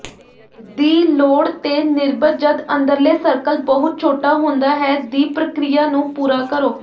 ਦੀ ਲੋੜ ਤੇਨਿਰਭਰ ਜਦ ਅੰਦਰਲੇ ਸਰਕਲ ਬਹੁਤ ਛੋਟਾ ਹੁੰਦਾ ਹੈ ਦੀ ਪ੍ਰਕਿਰਿਆ ਨੂੰ ਪੂਰਾ ਕਰੋ